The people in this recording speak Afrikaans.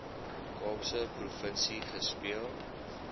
kaapse provinsie gespeel